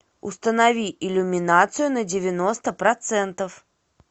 установи иллюминацию на девяносто процентов